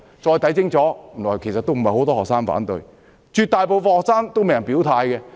再看清楚，原來不是很多學生反對，絕大部分學生都沒有表態。